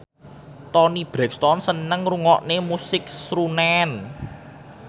Toni Brexton seneng ngrungokne musik srunen